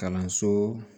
Kalanso